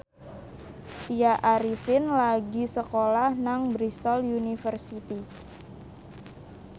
Tya Arifin lagi sekolah nang Bristol university